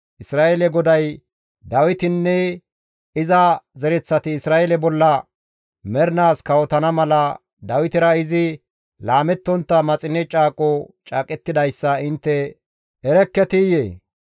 Isra7eele GODAY Dawitinne iza zereththati Isra7eele bolla mernaas kawotana mala, Dawitera izi laamettontta maxine caaqo caaqettidayssa intte erekketiyee?